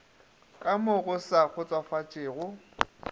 ka mo go sa kgotsofatšego